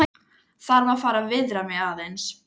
En skammsýni þín vildi að ég stöðvaði hið góða starf.